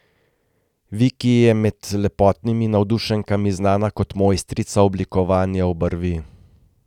Viki je med lepotnimi navdušenkami znana kot mojstrica oblikovanja obrvi.